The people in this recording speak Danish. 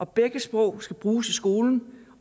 begge sprog skal bruges i skolen